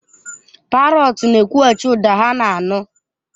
Parọts na-ekwughachi ụda ha na-anụ.